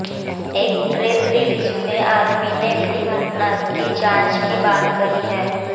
एक press release में army ने भी घटना की जांच की बात कही है